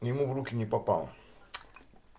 ему в руки не попал